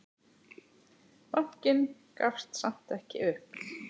Bankinn gafst samt ekki upp.